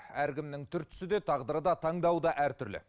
әркімнің түр түсі де тағдыры да таңдауы да әр түрлі